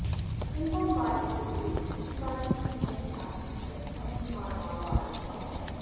एवं बाल्ये एव शिवाजी धीरः साहसिकः अभिमानावान् अभवत्